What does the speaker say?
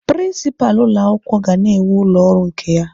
Prinsipalụ ụlọ akwụkwọ ga na-enwe ụlọ ọrụ nke ya